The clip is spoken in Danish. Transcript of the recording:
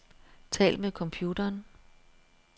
Tal med computeren.